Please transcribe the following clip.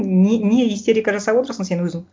не не истерика жасап отырсың сен өзің